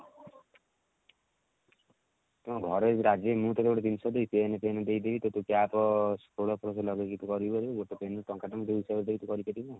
ତମ ଘରେ ଯଦି ରାଜି ହେବେ ମୁଁ ତତେ ଗୋଟେ ଜିନିଷ ଦେବି pen ଫେନ ଦେଇଦେବି ତୋତେ cap ମୁଁ ତତେ ଏବେ ଟଙ୍କେ ଟଙ୍କେ ହିସାବ ରେ ଦେବି ତୁ କରିପାରିବୁ?